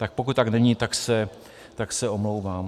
Tak pokud tak není, tak se omlouvám.